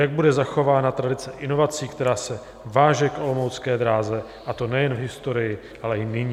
Jak bude zachována tradice inovací, která se váže k olomoucké dráze, a to nejen v historii, ale i nyní?